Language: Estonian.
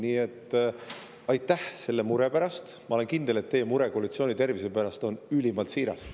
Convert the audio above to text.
Nii et aitäh muret tundmast, ma olen kindel, et teie mure koalitsiooni tervise pärast on ülimalt siiras.